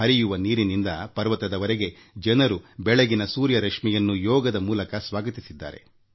ನದಿ ತಟಾಕದಿಂದ ಪರ್ವತದವರೆಗೆ ಜನರು ಬೆಳಗಿನ ಸೂರ್ಯಕಿರಣಗಳನ್ನು ಯೋಗದ ಮೂಲಕ ಸ್ವಾಗತಿಸಿದರು